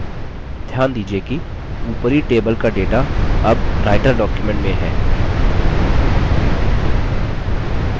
ध्यान दीजिये कि ऊपरी table का data अब writer document में है